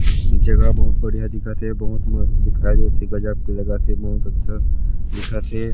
जगह बहुत बढ़िया दिखत हे बहुत मस्त दिखाई देत हे गजब के लगत हे बहुत अच्छा दिखत हे।